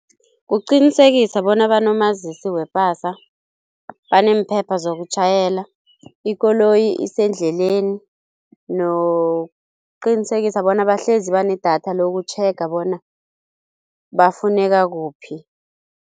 Kuqinisekisa bona banomazisi wepasa, baneemphepha zokutjhayela, ikoloyi isendleleni nokuqinisekisa bona bahlezi banedatha lokutjhega bona bafuneka kuphi.